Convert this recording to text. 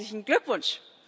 Herzlichen Glückwunsch!